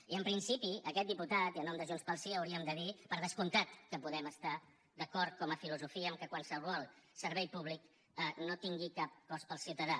i en principi aquest diputat i en nom de junts pel sí hauríem de dir per descomptat que podem estar d’acord com a filosofia que qualsevol servei públic no tingui cap cost per al ciutadà